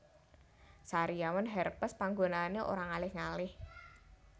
Sariawan herpes panggonane ora ngalih ngalih